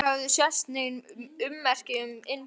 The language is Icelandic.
Ekki höfðu sést nein ummerki um innbrot.